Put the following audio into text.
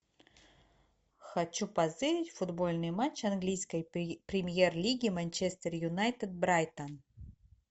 хочу позырить футбольный матч английской премьер лиги манчестер юнайтед брайтон